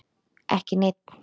Ekki neinn.